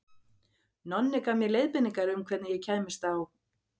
Nonni gaf mér leiðbeiningar um hvernig ég kæmist á